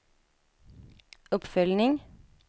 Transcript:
uppföljning